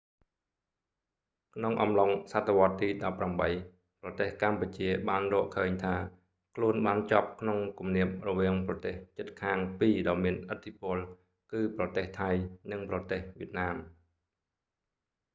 ក្នុងអំឡុងសតវត្សរ៍ទី 18 ប្រទេសកម្ពុជាបានរកឃើញថាខ្លួនបានជាប់ក្នុងគំនាបរវាងប្រទេសជិតខាងពីរដ៏មានឥទ្ធិពល គឺប្រទេសថៃ និងប្រទេស វៀតណាម